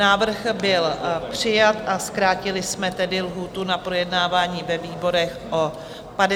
Návrh byl přijat, a zkrátili jsme tedy lhůtu na projednávání ve výborech o 59 dnů.